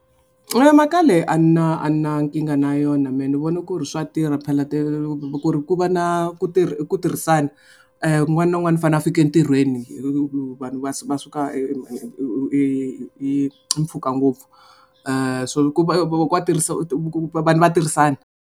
mhaka leyi a na a na nkingha na yona mehe ni vona ku ri swa tirha phela ku ri ku va na ku tirha ku tirhisana un'wana na un'wana u fanele a fika entirhweni hi vanhu va va suka hi mpfhuka ngopfu so ku va a tirhisa vanhu va tirhisana.